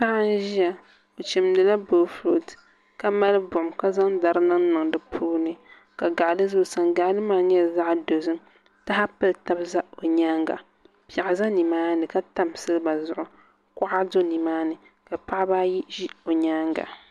Paɣa n ʒiya o chimdila boofurooto ka mali buɣum ka zaŋ dari niŋniŋ di puuni ka gaɣali ʒɛ o sani gaɣali maa nyɛla zaɣ dozim taha pili tab ʒɛ o nyaanga piɛɣu ʒɛ nimaani ka tam silba zuɣu kuɣa do nimaani ka paɣaba ayi ʒi o nyaanga